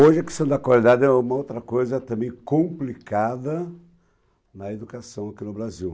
Hoje a questão da qualidade é uma outra coisa também complicada na educação aqui no Brasil.